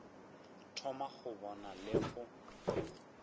thoma go bona le go